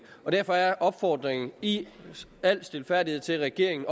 derfor er opfordringen i al stilfærdighed til regeringen